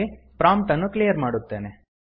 prompt ಅನ್ನು clear ಮಾಡುತ್ತೇನೆ